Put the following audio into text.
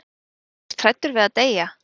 Varstu ekkert hræddur við að deyja?